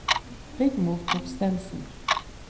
Rigmor Thorstensen